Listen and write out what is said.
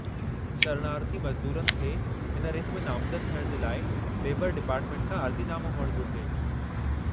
शरणार्थी मज़दूरनि खे हिन रिथ में नामज़दु थियण जे लाइ लेबरु डिपार्टमेंट खां अर्ज़ी नामो हुअणु घुरिजे।